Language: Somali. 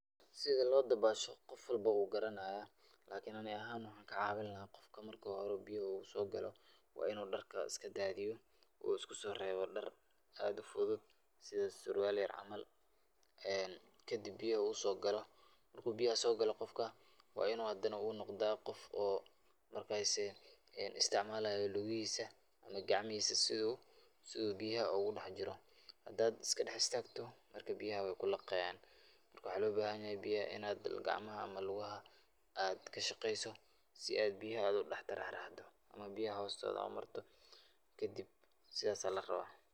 Sida loo dabaasho qof walbo wuu garanaaya, lakin ani ahaan waxaan kacaawin lahaa qofka marki hore uu biyaha uu soo galo, waa inuu darka iska daadiyo uu isku soo reebo dar aad ufudud, sida surwaal yar camal, kadib biyaha uu soo galo, markuu biyaha soo galo qofka waa inuu hadana uu noqdaa qof oo markasi isticmaalayo lugahiisa ama gacmahiisa si uu biyaha ugu dex jiro, hadaad iska dex istaagto biyaha waay kulaqaayan, marka waxaa loo bahan yahay inaad gacmaha ama lugaha kashaqeeso si aad biyaha udex taraaraxdo ama biyaha hoostoda umarto kadib sidaas ayaa larabaa.